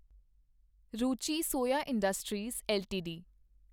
Ruchi soya industries LTD